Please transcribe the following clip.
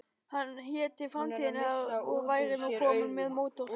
Hann héti Framtíðin og væri nú kominn með mótor.